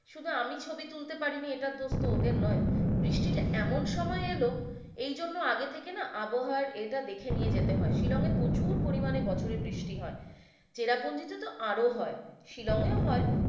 শুধু আমি ছবি তুলতে পারিনি এটার দোষ তো ওদের নয়। বৃষ্টিটা এমন সময় এলো এইজন্য আগে থেকে না আবহাওয়ার এটা দেখে নিয়ে যেতে হয়। শিলং এ প্রচুর পরিমাণে বছরে বৃষ্টি হয় চেরাপুঞ্জিতে তো আরও হয়, শিলং এও হয়।